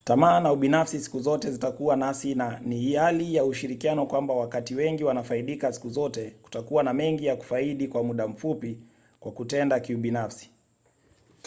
tamaa na ubinafsi siku zote zitakuwa nasi na ni hali ya ushirikiano kwamba wakati wengi wanafaidika siku zote kutakuwa na mengi ya kufaidi kwa muda mfupi kwa kutenda kiubinafsi